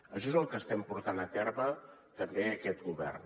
això és el que estem portant a terme també aquest govern